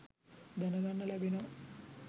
දැනගන්න ලැබෙනවා.